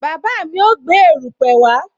Bàbá mi ó gbé erupe wá